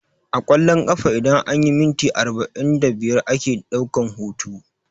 A ƙwallon ƙafa idan anyi minti arba'in da biyar ake ɗaukan hutu